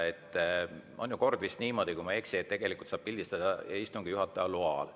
Kord on vist niisugune, kui ma ei eksi, et pildistada saab istungi juhataja loal.